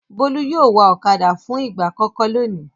Bólú yóò wa ọ̀kadà fún ìgbà àkọ́kọ́ lónìí.